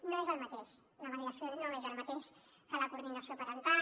no és el mateix la mediació no és el mateix que la coordinació parental